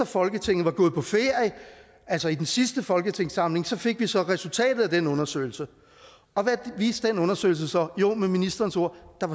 folketinget var gået på ferie altså i den sidste folketingssamling fik vi så resultatet af den undersøgelse hvad viste den undersøgelse så jo med ministerens ord